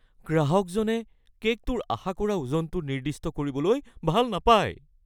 গ্ৰাহকজনে কে'কটোৰ আশা কৰা ওজনটো নিৰ্দিষ্ট কৰিবলৈ ভাল নাপায়।